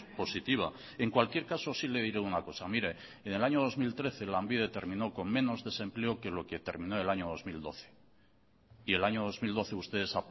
positiva en cualquier caso sí le diré una cosa mire en el año dos mil trece lanbide terminó con menos desempleo que lo que terminó el año dos mil doce y el año dos mil doce ustedes